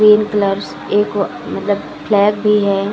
Green colours एक व मतलब फ्लैग भी है।